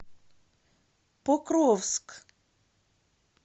покровск